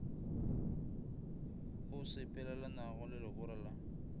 o sepelelanago le legora la